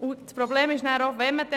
Das Problem wäre Folgendes: